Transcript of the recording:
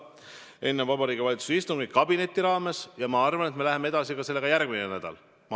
See on enne Vabariigi Valitsuse istungit kabineti arutelu raames ja ma arvan, et me läheme sellega edasi ka järgmine nädal.